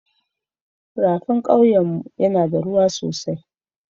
Rafin kawye na yana da ruwa sosai.